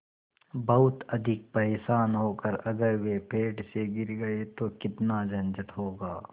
बहुत अधिक परेशान होकर अगर वे पेड़ से गिर गए तो कितना झंझट होगा